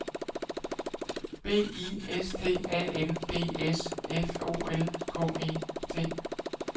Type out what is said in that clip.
B I S T A N D S F O L K E T